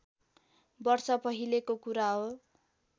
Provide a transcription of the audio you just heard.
वर्ष पहिलेको कुरा हो